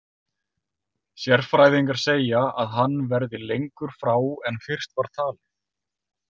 Sérfræðingar segja að hann verði lengur frá en fyrst var talið.